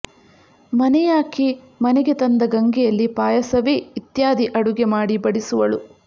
ಮನೆಯಾಕೆ ಮನೆಗೆ ತಂದ ಗಂಗೆಯಲ್ಲಿ ಪಾಯಸವೇ ಇತ್ಯಾದಿ ಅಡುಗೆ ಮಾಡಿ ಬಡಿಸುವಳು